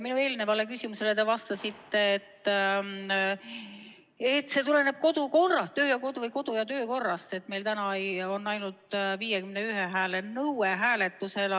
Minu eelnevale küsimusele te vastasite, et see tuleneb kodu- ja töökorrast, et meie tänasel hääletusel ainult 51 hääle nõue.